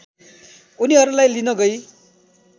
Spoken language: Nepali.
उनीहरूलाई लिन गई